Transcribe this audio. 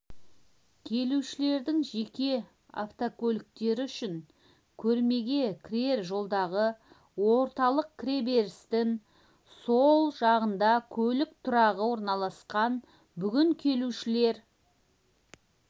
келушілердің жеке автокөліктері үшін көрмеге кірер жолдағы орталық кіреберістің сол жағында көлік тұрағы орналасқан бүгін келушілер